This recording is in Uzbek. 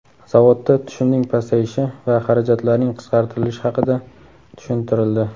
Zavodda tushumning pasayishi va xarajatlarning qisqartirilishi haqida tushuntirildi.